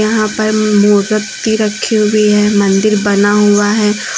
यहां पर मोदकती रखी हुई है मंदिर बना हुआ है।